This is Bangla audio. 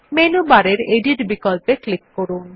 মেনু বারের এডিট বিকল্পে ক্লিক করুন